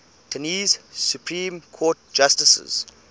tennessee supreme court justices